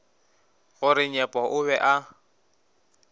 gore nyepo o be a